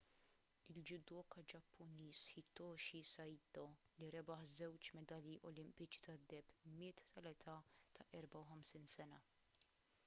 il-judoka ġappuniż hitoshi saito li rebaħ żewġ medalji olimpiċi tad-deheb miet tal-età ta' 54 sena